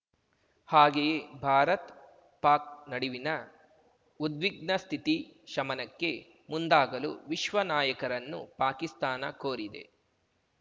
ಹಾಗೆಯೇ ಭಾರತ್ ಪಾಕ್ ನಡಿವಿನ ಉದ್ವಿಗ್ನ ಸ್ಥಿತಿ ಶಮನಕ್ಕೆ ಮುಂದಾಗಲೂ ವಿಶ್ವ ನಾಯಕರನ್ನು ಪಾಕಿಸ್ತಾನ ಕೋರಿದೆ